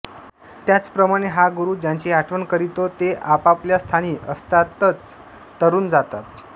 त्याचप्रमाणें हा गुरु ज्यांची आठवण करितो ते आपापल्या स्थानीं असतांच तरून जातात